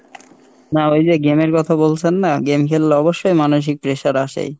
না এইযে game এর কথা বলছেন না, game খেললে অবশ্যই মানসিক pressure আসেই।